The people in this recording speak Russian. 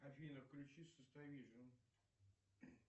афина включи